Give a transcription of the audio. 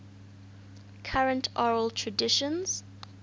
current oral traditions